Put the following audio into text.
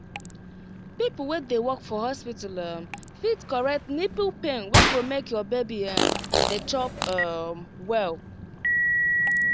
people wey dey work for hospital um fit correct nipple pain wey go make your baby um dey chop um well.